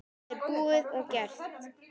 Það er búið og gert.